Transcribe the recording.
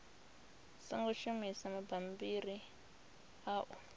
songo shumisa mabammbiri a u